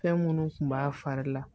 Fɛn munnu kun b'a fari la